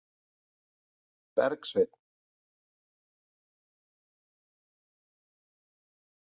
Bergsveinn